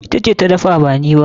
Ita ce ta dafa ba ni ba.